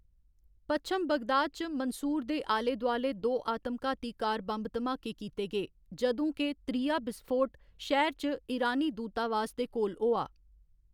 पश्चिम Baghdad च Mansour दे आले दोआले दो आतम घाती कार बम्ब धमाके कीते गे, जदूं के त्रीया बिसफोट शैह्‌र च ईरानी दूतावास दे कोल होआ।